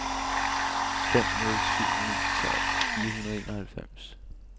fem nul syv ni tolv fire hundrede og enoghalvfems